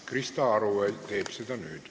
Krista Aru teeb seda nüüd.